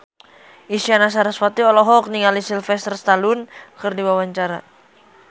Isyana Sarasvati olohok ningali Sylvester Stallone keur diwawancara